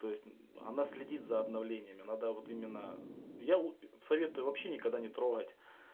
то есть она следит за обновлениями надо вот именно я вот советую вообще никогда не трогать